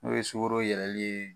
N'o ye sukɔro yɛlɛli ye